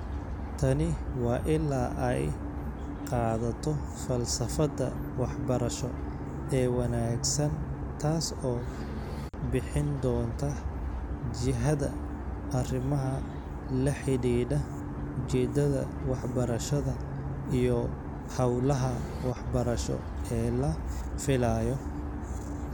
Tani waa ilaa ay qaadato falsafada waxbarasho ee wanaagsan taas oo bixin doonta jihada arrimaha la xidhiidha ujeedada waxbarashada iyo hawlaha waxbarasho ee la filayo.